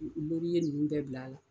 Morinin ninnu bɛɛ bil'a la